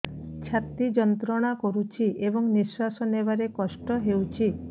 ଛାତି ଯନ୍ତ୍ରଣା କରୁଛି ଏବଂ ନିଶ୍ୱାସ ନେବାରେ କଷ୍ଟ ହେଉଛି